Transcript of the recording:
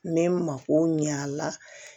N bɛ n mako ɲɛ a la